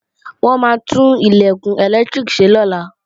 Wọ́n maá tún Ilẹ̀kùn ẹlẹ́lẹtiriki ṣe lọ́la